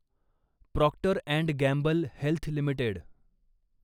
Procter and Gamble Health limited